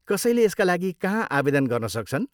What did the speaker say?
कसैले यसका लागि कहाँ आवेदन गर्न सक्छन्?